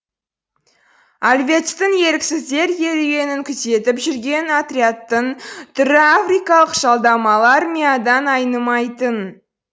альвецтің еріксіздер керуенін күзетіп жүрген отрядтың түрі африкалық жалдамалы армиядан айнымайтын